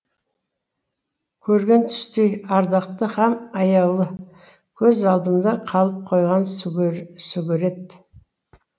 көрген түстей ардақты һәм аяулы көз алдымда қалып қойған сүгірет